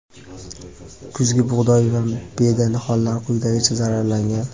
kuzgi bug‘doy va beda nihollari quyidagicha zararlangan:.